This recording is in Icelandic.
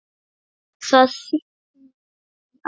Það þykknar í Ara